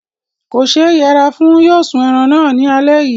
Kò ṣe yẹra fún. Yóò sún ẹran náà ní alẹ́ yìí.